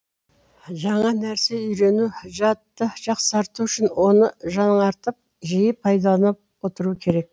жаңа нәрсе үйрену жадты жақсарту үшін оны жаңартып жиі пайдаланып отыру керек